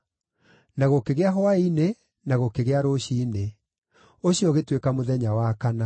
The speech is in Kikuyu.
Na gũkĩgĩa hwaĩ-inĩ na gũkĩgĩa rũciinĩ. Ũcio ũgĩtuĩka mũthenya wa kana.